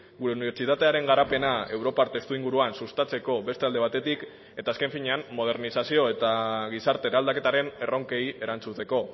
gure unibertsitatearen garapena europar testuinguruan sustatzeko beste alde batetik eta azken finean modernizazio eta gizarte eraldaketaren erronkei erantzuteko